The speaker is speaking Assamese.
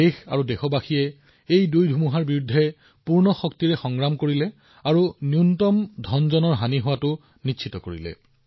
দেশ আৰু দেশৰ মানুহে ইয়াৰ সৈতে সম্পূৰ্ণ শক্তিৰে যুঁজ দিছে আৰু অন্ততঃ কমসংখ্যক প্ৰাণহানি নিশ্চিত কৰিছে